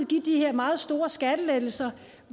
give de her meget store skattelettelser